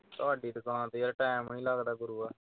ਤੁਹਾਡੀ ਦੁਕਾਨ ਤੇ ਯਾਰ time ਨਈਂ ਲਗਦਾ ਗੁਰੂਆ